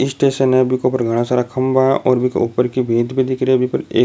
station है बीके ऊपर घाना सारा खंबा है और बीके ऊपर की भीत भी दिख रही है बी पर एक --